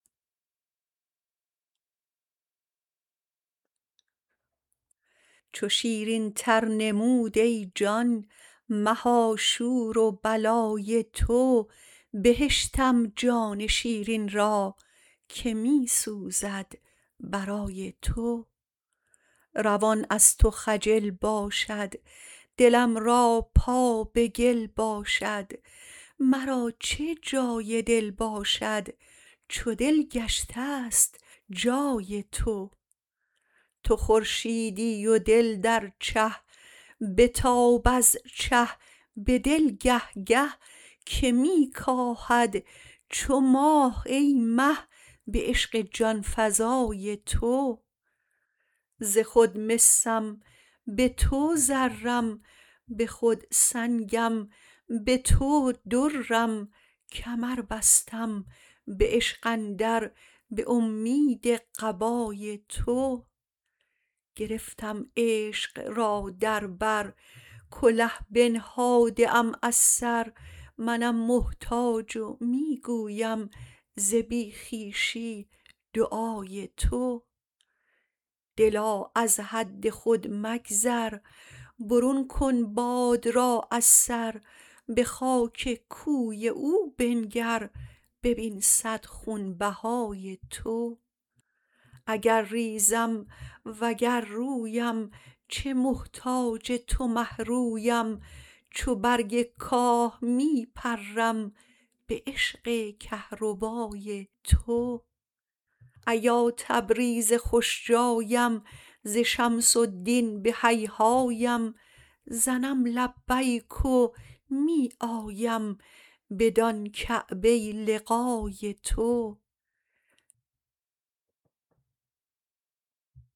چو شیرینتر نمود ای جان مها شور و بلای تو بهشتم جان شیرین را که می سوزد برای تو روان از تو خجل باشد دلم را پا به گل باشد مرا چه جای دل باشد چو دل گشته ست جای تو تو خورشیدی و دل در چه بتاب از چه به دل گه گه که می کاهد چو ماه ای مه به عشق جان فزای تو ز خود مسم به تو زرم به خود سنگم به تو درم کمر بستم به عشق اندر به اومید قبای تو گرفتم عشق را در بر کله بنهاده ام از سر منم محتاج و می گویم ز بی خویشی دعای تو دلا از حد خود مگذر برون کن باد را از سر به خاک کوی او بنگر ببین صد خونبهای تو اگر ریزم وگر رویم چه محتاج تو مه رویم چو برگ کاه می پرم به عشق کهربای تو ایا تبریز خوش جایم ز شمس الدین به هیهایم زنم لبیک و می آیم بدان کعبه لقای تو